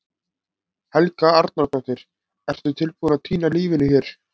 Helga Arnardóttir: Ertu tilbúinn að týna lífinu hér?